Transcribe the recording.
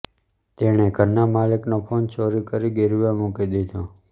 તેણે ઘરના માલિકનો ફોન ચોરી કરી ગિરવે મૂકી દીધો